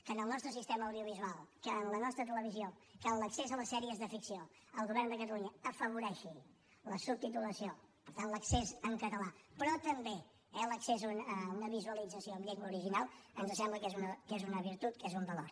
que en el nostre sistema audiovisual que en la nostra televisió que en l’accés a les sèries de ficció el govern de catalunya afavoreixi la subtitulació per tant l’accés en català però també l’accés a una visualització en llengua original ens sembla que és una virtut que és un valor